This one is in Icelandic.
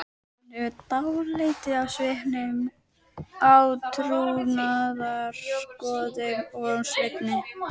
Hún hefur dálæti á svipuðum átrúnaðargoðum og Svenni.